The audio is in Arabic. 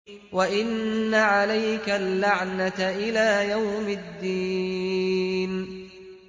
وَإِنَّ عَلَيْكَ اللَّعْنَةَ إِلَىٰ يَوْمِ الدِّينِ